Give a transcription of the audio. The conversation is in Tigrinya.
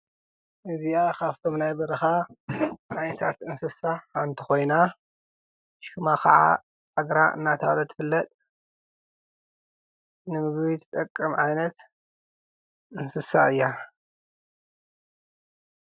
እዚኣ ኻብቶም ናይ በርኻ ዓይነታት እንስሳ ሓንቲ ኾይና ሹማ ኸዓ ዛግራ እናተባህለት ትፍለጥ፡፡ ንምግቢ ትጠቅም ዓይነት እንስሳ እያ፡፡